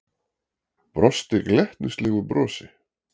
Brosti glettnislegu brosi.